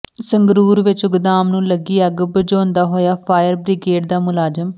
ਸੰਗਰੂਰ ਵਿੱਚ ਗੋਦਾਮ ਨੂੰ ਲੱਗੀ ਅੱਗ ਬੁਝਾਉਂਦਾ ਹੋਇਆ ਫਾਇਰ ਬ੍ਰਿਗੇਡ ਦਾ ਮੁਲਾਜ਼ਮ